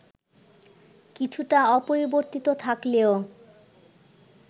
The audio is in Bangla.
কিছুটা অপরিবর্তিত থাকলেও